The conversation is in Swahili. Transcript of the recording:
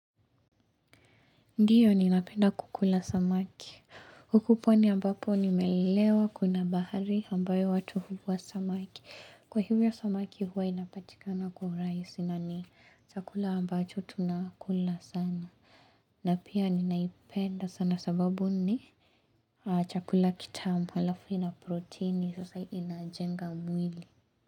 Ndiyo ni napenda kukula samaki, huku pwani ambapo nimelelewa kuna bahari ambayo watu huvua samaki, kwa hivyo samaki huwa inapatikana kwa urahisi na ni chakula ambacho tunakula sana, na pia ninaipenda sana sababu ni chakula kitamu alafu na proteini sasa inajenga mwili.